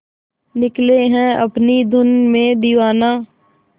निकले है अपनी धुन में दीवाना